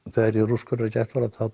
þegar ég er úrskurðaður í gæsluvarðhald